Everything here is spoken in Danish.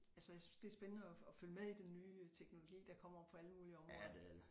Altså jeg synes det er spændende at at følge med i den nye teknologi der kommer på alle mulige områder